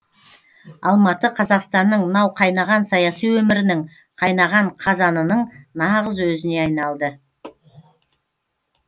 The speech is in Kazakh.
алматы қазақстанның мынау қайнаған саяси өмірінің қайнаған қазанының нағыз өзіне айналды